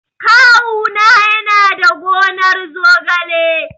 Kawu na yana da gonar zogale.